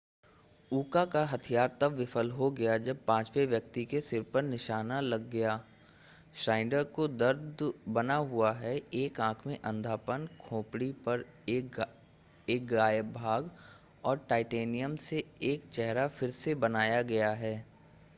उका का हथियार तब विफल हो गया जब पांचवें व्यक्ति के सिर पर निशाना लगया श्नाइडर को दर्द बना हुआ है एक आंख में अंधापन खोपड़ी का एक गायब भाग और टाइटेनियम से एक चेहरा फिर से बनाया गया है